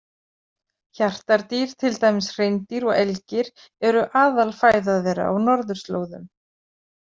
Hjartardýr, til dæmis hreindýr og elgir, eru aðalfæða þeirra á norðurslóðum.